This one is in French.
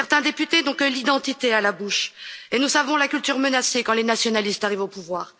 Certains députés n'ont que l'identité à la bouche et nous savons la culture menacée quand les nationalistes arrivent au pouvoir.